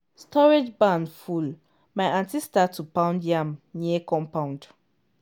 storage barn full my aunty start to pound yam near compound.